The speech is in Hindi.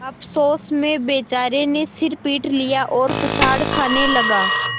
अफसोस में बेचारे ने सिर पीट लिया और पछाड़ खाने लगा